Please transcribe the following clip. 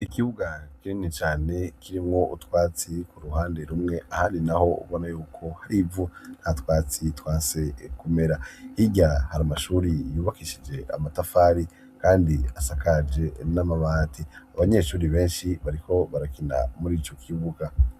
Ikibuga kinini cane kirimwo utwatsi ku hande rumwe ahandi naho ubona y'uko hari ivu nta twatsi twanse kumera. Hirya hari amashuri yubakishije amatafari kandi asakaje n'amabati. Abanyeshuri benshi bariko barakina muri ico kibuga.